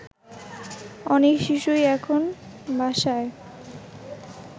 অনেক শিশুই এখন বাসায়